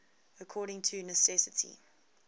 according to necessity